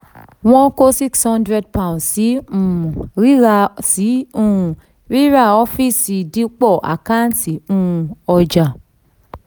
wọ́n kó um six hundred pounds sí um ríra sí um rírà ọfíìsì dípọ̀ àkáǹtì um ọjà.